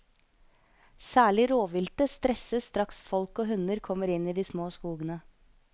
Særlig råviltet stresses straks folk og hunder kommer inn i de små skogene.